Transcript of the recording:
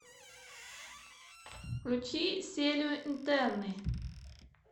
включи серию интерны